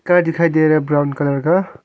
Car दिखाई दे रहा है ब्राउन कलर का।